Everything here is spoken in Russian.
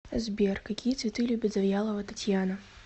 сбер какие цветы любит завьялова татьяна